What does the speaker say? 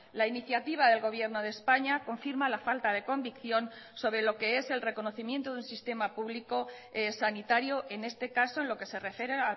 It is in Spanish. la iniciativa del gobierno de españa confirma la falta de convicción sobre lo que es el reconocimiento del sistema público sanitario en este caso en lo que se refiere